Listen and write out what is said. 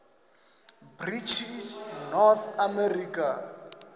british north america